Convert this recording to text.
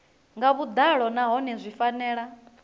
nga vhuḓalo nahone zwi fanela